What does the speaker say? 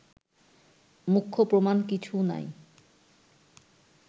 মুখ্য প্রমাণ কিছু নাই